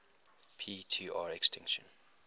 p tr extinction